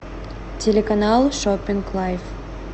телеканал шоппинг лайф